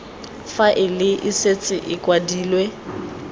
faele e setse e kwadilwe